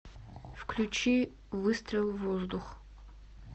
включи выстрел в воздух